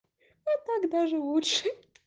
и так даже лучше